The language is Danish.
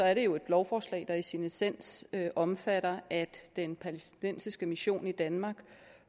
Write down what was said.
er det jo et lovforslag der i sin essens omfatter at den palæstinensiske mission i danmark